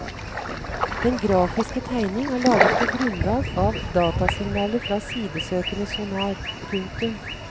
Den grafiske tegning er laget på grunnlag av datasignaler fra sidesøkende sonar. punktum